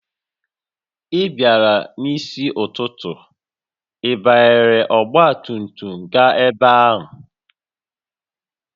Ị bịara n'isi ụtụtụ, ị banyere ọgba tum tum gaa ebe a?